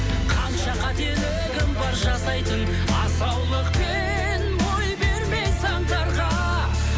қанша қателігім бар жасайтын асаулықпен бой бермей заңдарға